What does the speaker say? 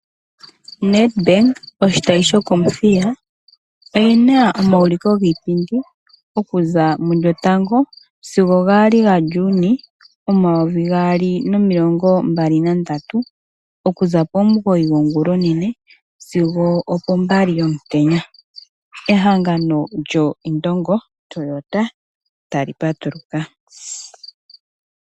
Net bank oshitayi shokomuthiya oyena omauliko giipindi oku za mu lyotango sigo gaali gaJuni omayovi gaali nomilongo mbali nandatu, oku za pomugoyi gongulonene sigo opo mbali yomutenya. Ehangano lyo Indongo Toyota tali patuluka.